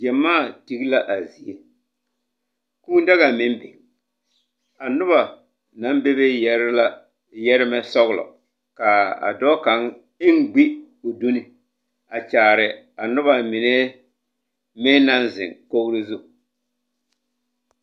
Gyamaa tege la a zie, kūū daga meŋ biŋ. A noba naŋ bebe yɛrɛ la yɛrɛ ba sɔgelɔ. Kaa a dɔɔ kaŋ eŋ gbi o duni a kyaare noba mine meŋ naŋ zeŋ kogiri zu.